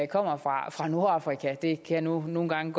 kommer fra nordafrika det kan nu nogle gange